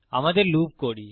আমাদের লুপ করি